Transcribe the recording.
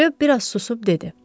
Röv biraz susub dedi.